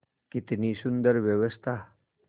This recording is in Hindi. कितनी सुंदर व्यवस्था